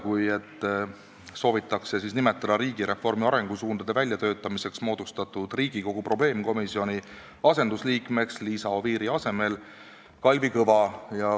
Selle eesmärk on nimetada riigireformi arengusuundade väljatöötamiseks moodustatud Riigikogu probleemkomisjoni asendusliikmeks Liisa Oviiri asemel Kalvi Kõva.